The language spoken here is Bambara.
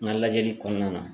N ka lajɛli kɔnɔna na